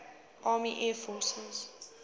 army air forces